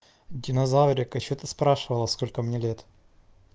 динозаврика что ты спрашивала сколько мне лет